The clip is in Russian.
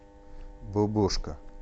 бобошко